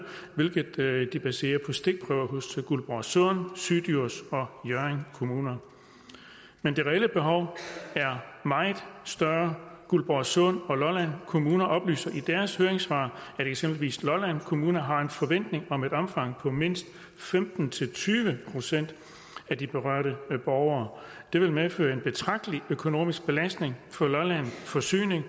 hvilket baseres på stikprøver hos guldborgsund syddjurs og hjørring kommuner men det reelle behov er meget større guldborgsund og lolland kommuner oplyser i deres høringssvar at eksempelvis lolland kommune har en forventning om et omfang på mindst femten til tyve procent af de berørte borgere det vil medføre en betragtelig økonomisk belastning for lolland forsyning og